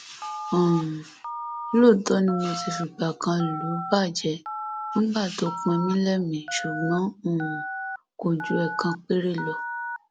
um lóòótọ ni mo ti fìgbà kan lù ú bàjẹ nígbà tó pin mí lẹmìí ṣùgbọn um kò ju ẹẹkan péré lọ